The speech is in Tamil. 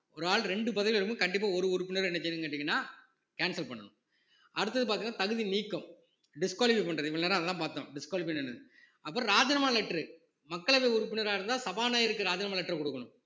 ஒரு ஆள் இரண்டு பதவியில இருக்கும்போது கண்டிப்பா ஒரு உறுப்பினர் என்ன செய்யன்னு கேட்டீங்கன்னா cancel பண்ணணும் அடுத்தது பார்த்தீங்கன்னா தகுதி நீக்கம் disqualify பண்றது இவ்வளவு நேரம் அதெல்லாம் பார்த்தோம் disqualify என்னன்னு அப்புறம் ராஜினாமா letter மக்களவை உறுப்பினரா இருந்தா சபாநாயகருக்கு ராஜினாமா letter கொடுக்கணும்